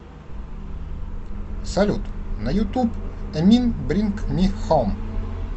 салют на ютуб эмин бринг ми хоум